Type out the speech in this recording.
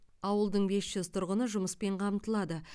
ауылдың бес жүз тұрғыны жұмыспен қамтылады